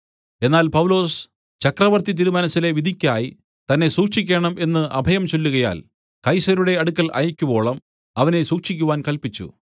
എന്നാൽ പൗലൊസ് ചക്രവർത്തിതിരുമനസ്സിലെ വിധിക്കായി തന്നെ സൂക്ഷിക്കേണം എന്ന് അഭയം ചൊല്ലുകയാൽ കൈസരുടെ അടുക്കൽ അയയ്ക്കുവോളം അവനെ സൂക്ഷിക്കുവാൻ കല്പിച്ചു